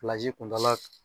kuntaa la